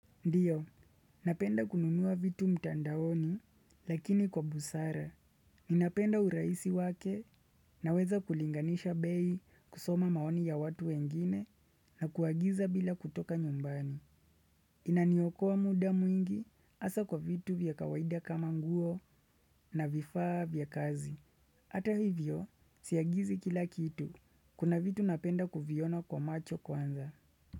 Ndiyo, napenda kununua vitu mtandaoni lakini kwa busara. Ninapenda urahisi wake naweza kulinganisha bei kusoma maoni ya watu wengine na kuagiza bila kutoka nyumbani. Inaniokoa muda mwingi hasa kwa vitu vya kawaida kama nguo na vifaa vya kazi. Hata hivyo, siagizi kila kitu. Kuna vitu napenda kuviona kwa macho kwanza.